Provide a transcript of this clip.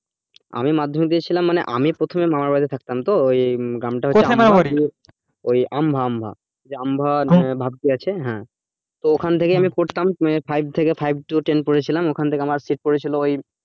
আমি মাধ্যমিক দিয়ে ছিলাম মানে আমি প্রথমে মামা বাড়ি টে থাকতাম তো আমভা আমা, যে আমভা ভাবপুর আছে হ্যাঁ তো ওখান থেকেই আমি পড়তাম five থেকে five থেকে ten পড়েছিলাম ওখান থেকে আমার sit পড়েছিল ওই